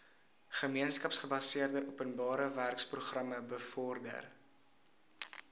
gemeenskapsgebaseerde openbarewerkeprogram bevorder